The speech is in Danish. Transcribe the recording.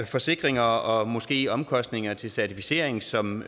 forsikringer og måske omkostninger til certificering som